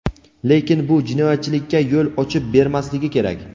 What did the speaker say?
lekin bu jinoyatchilikka yo‘l ochib bermasligi kerak.